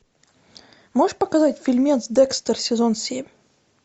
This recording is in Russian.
можешь показать фильмец декстер сезон семь